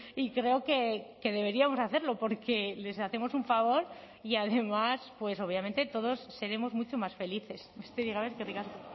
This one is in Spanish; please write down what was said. y creo que deberíamos hacerlo porque les hacemos un favor y además pues obviamente todos seremos mucho más felices besterik gabe eskerrik asko